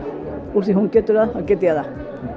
úr því hún getur það þá get ég það